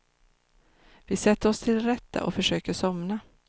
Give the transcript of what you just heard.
Vi sätter oss till rätta och försöker somna.